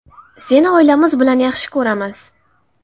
Seni oilamiz bilan yaxshi ko‘ramiz!